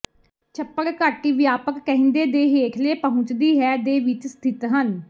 ਛੱਪੜ ਘਾਟੀ ਵਿਆਪਕ ਕਹਿੰਦੇ ਦੇ ਹੇਠਲੇ ਪਹੁੰਚਦੀ ਹੈ ਦੇ ਵਿੱਚ ਸਥਿਤ ਹਨ